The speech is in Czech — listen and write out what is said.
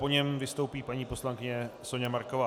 Po něm vystoupí paní poslankyně Soňa Marková.